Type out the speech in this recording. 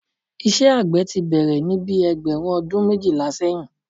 Iṣẹ́ àgbẹ̀ tí bẹ̀rẹ̀ ní bíi ẹgbẹ̀rún ọdún méjìlá sẹ́yìn